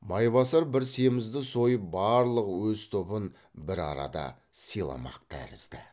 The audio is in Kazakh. майбасар бір семізді сойып барлық өз тобын бір арада сыйламақ тәрізді